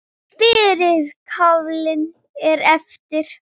Fyrri kaflinn er eftir